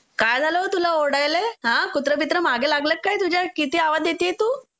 काय झालं गं तुला ओरडायले? हां कुत्रा बित्रा मांग लागलय का तुझ्या? किती आवाज देतीये तू.